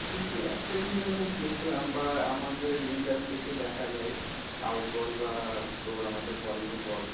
কিন্তু আমি একটা জিনিস আমি দেখলাম বা আমাদের ইন্ডাস্ট্রিতে দেখা যায়, সাউথ বল বা তোর আমাদের বলিউড বল